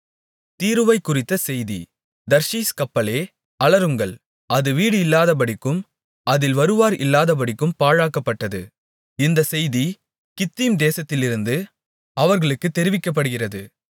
தீருவைக்குறித்த செய்தி தர்ஷீஸ் கப்பல்களே அலறுங்கள் அது வீடு இல்லாதபடிக்கும் அதில் வருவார் இல்லாதபடிக்கும் பாழாக்கப்பட்டது இந்தச் செய்தி கித்தீம் தேசத்திலிருந்து அவர்களுக்குத் தெரிவிக்கப்படுகிறது